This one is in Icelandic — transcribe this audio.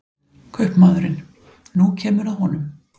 Kaupmaðurinn: nú kemur að honum.